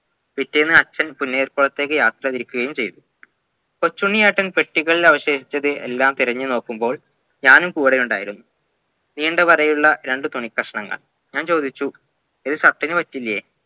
പിറ്റേന്ന് അച്ഛൻ പൊന്നിയൽകുളത്തേക്ക് യാത്ര തിരിക്കുകയും ചെയ്‌തു കൊച്ചുണ്ണിയേട്ടൻ പെട്ടികളിൽ അവശേഷിച്ചത് എല്ലാം തിരഞ്ഞ് നോക്കുമ്പോൾ ഞാനും കൂടെ ഉണ്ടായിരുന്നു നീണ്ടവരായുള്ള രണ്ട് തുണിക്കഷ്ണങ്ങൾ ഞാൻ ചോദിച്ചു ഇത് shirt ന് പറ്റില്ലേ